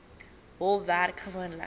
hof werk gewoonlik